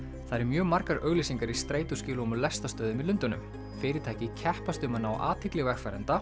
það eru mjög margar auglýsingar í strætóskýlum og lestarstöðvum í Lundúnum fyrirtæki keppast um að ná athygli vegfarenda